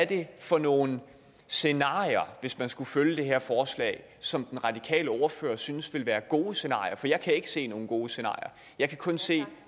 det for nogle scenarier hvis man skulle følge det her forslag som den radikale ordfører synes ville være gode scenarier for jeg kan ikke se nogle gode scenarier og jeg kan kun se